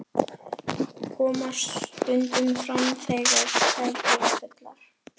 Koma stundum fram þegar þær eru fullar.